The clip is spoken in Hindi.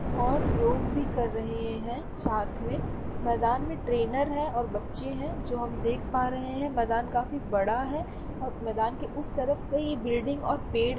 और योग भी कर रहे हैं साथ में मैदान में ट्रेनर है और बच्चे हैं जो हम देख पा रहे हैं। मैदान काफी बड़ा हैं और मैदान के उस तरफ कई बिल्डिंग और पेड़ --